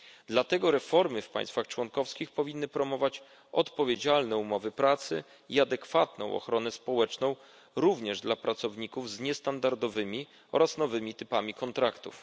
Dlatego reformy w państwach członkowskich powinny promować odpowiedzialne umowy pracy i adekwatną ochronę społeczną, również dla pracowników z niestandardowymi oraz nowymi typami kontraktów.